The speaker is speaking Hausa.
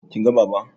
Kin ga Baba?